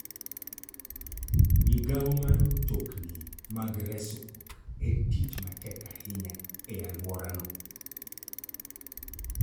Migawo mar mtokni mag resruok en tich matek ahinya e alworano.